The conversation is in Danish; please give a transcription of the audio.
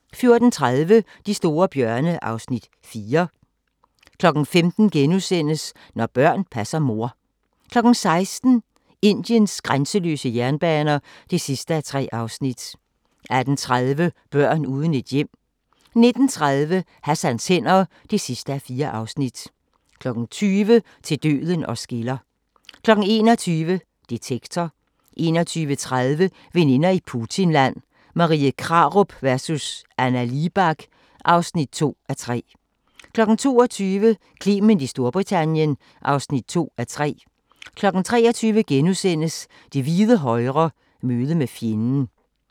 14:30: De store bjørne (Afs. 4) 15:00: Når børn passer mor * 16:00: Indiens grænseløse jernbaner (3:3) 18:30: Børn uden et hjem 19:30: Hassans hænder (4:4) 20:00: Til døden os skiller 21:00: Detektor 21:30: Veninder i Putinland – Marie Krarup vs. Anna Libak (2:3) 22:00: Clement i Storbritannien (2:3) 23:00: Det hvide højre – møde med fjenden *